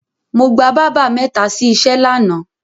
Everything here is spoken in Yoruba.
Mo gba bábà mẹ́ta sí iṣẹ́ lánàá.